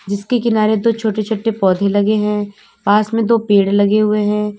जिसके किनारे दो छोटे छोटे पौधे लगे हैं पास में दो पेड़ लगे हुए हैं।